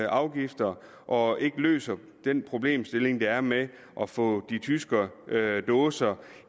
afgifter og ikke løser den problemstilling der er med at få de tyske dåser